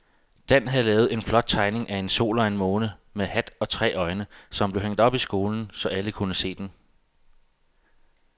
Dan havde lavet en flot tegning af en sol og en måne med hat og tre øjne, som blev hængt op i skolen, så alle kunne se den.